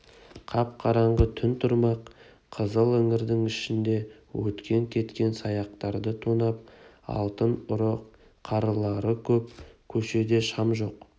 қап-қараңғы түн тұрмақ қызыл іңірдің ішінде өткен-кеткен саяқтарды тонап алатын ұры-қарылары көп көшеде шам жоқ